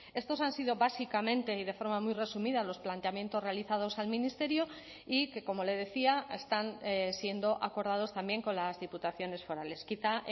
estos han sido básicamente y de forma muy resumida los planteamientos realizados al ministerio y que como le decía están siendo acordados también con las diputaciones forales quizá